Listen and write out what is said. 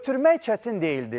Ötürmək çətin deyildi.